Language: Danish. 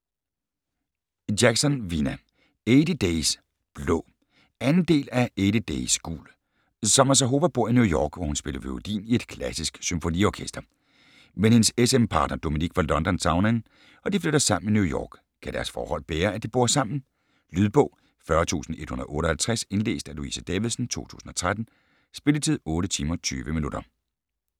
Jackson, Vina: Eighty days blå 2. del af Eighty days gul. Summer Zahova bor i New York, hvor hun spiller violin i et klassisk symfoniorkester. Men hendes s/m partner Dominik fra London savner hende, og de flytter sammen i New York. Kan deres forhold bære at de bor sammen? Lydbog 40158 Indlæst af Louise Davidsen, 2013. Spilletid: 8 timer, 20 minutter.